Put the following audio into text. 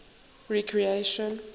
recreation